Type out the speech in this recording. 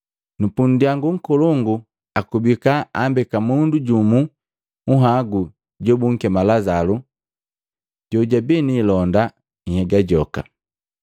Nu pundyangu nkolongu, akubika ambeka mundu jumu nhagu jobunkema Lazalu jojabi ni ilonda nhyega joka.